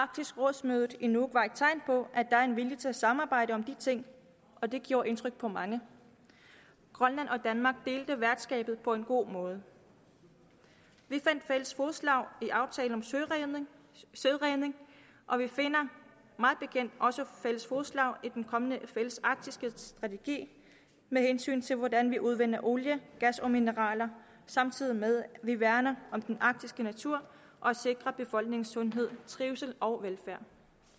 mødet i nuuk var et tegn på at der er en vilje til at samarbejde om de ting og det gjorde indtryk på mange grønland og danmark delte værtskabet på en god måde vi fandt fælles fodslag i aftalen om søredning og vi finder mig bekendt også fælles fodslag i den kommende fælles arktiske strategi med hensyn til hvordan vi udvinder olie gas og mineraler samtidig med at vi værner om den arktiske natur og sikrer befolkningens sundhed trivsel og velfærd